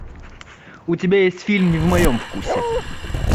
у тебя есть фильм не в моем вкусе